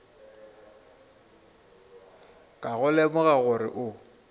ka go lemoga gore o